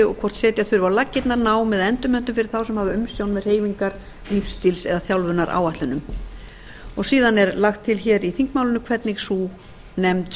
og hvort setja þurfi á laggirnar nám eða endurmenntun fyrir þá sem hafa umsjón með hreyfingar lífsstíls eða þjálfunaráætlunum síðan er lagt til hér í þingmálinu hvernig sú nefnd